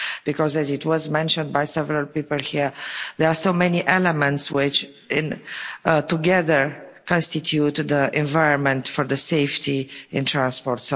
Because, as was mentioned by several people here, there are so many elements which together constitute the environment for safety in transport.